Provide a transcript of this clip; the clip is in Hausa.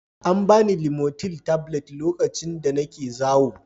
An ba ni limotil tablet lokacin da nake zawo